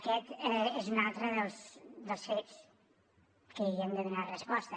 aquest és un altre dels fets que hi hem de donar resposta